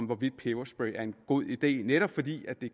hvorvidt peberspray er en god idé netop fordi det